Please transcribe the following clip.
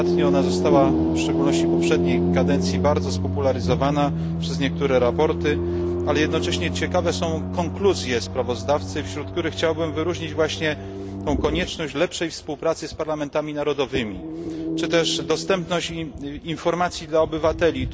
Ostatnio ona została, w szczególności w poprzedniej kadencji, bardzo spopularyzowana przez niektóre sprawozdania, ale jednocześnie ciekawe są konkluzje sprawozdawcy, wśród których chciałbym wyróżnić właśnie tę konieczność lepszej współpracy z parlamentami narodowymi, czy też dostępność informacji dla obywateli.